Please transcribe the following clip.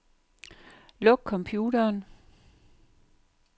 Luk computeren.